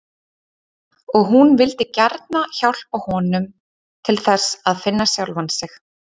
Og hún vildi gjarna hjálpa honum til þess að finna sjálfan sig.